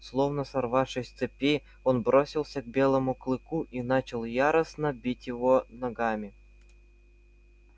словно сорвавшись с цепи он бросился к белому клыку и начал яростно бить его ногами